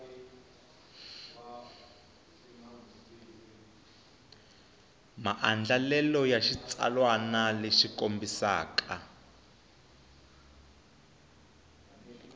maandlalelo ya xitsalwana lexi kombisaka